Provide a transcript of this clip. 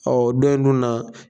dɔ in dun na